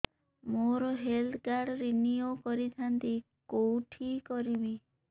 ମୋର health card renew କରିଥାନ୍ତି କୋଉଠି କରିବି